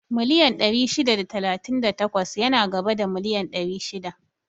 Miliyan ɗari shida da talatin da takwas yana gaba da miliyan ɗari shida